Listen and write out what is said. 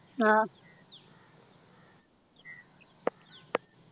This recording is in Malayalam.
ആഹ്